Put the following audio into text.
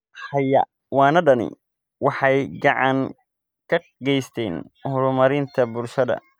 Xayawaanadani waxay gacan ka geystaan ??horumarinta bulshada.